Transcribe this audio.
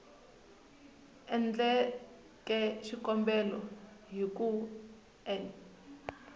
endleke xikombelo hi ku n